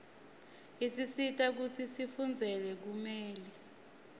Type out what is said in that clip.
isisita kutsi sifundzele bumeli